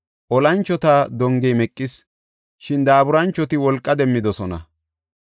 Olanchota dongey meqis; shin daaburanchoti wolqa demmidosona.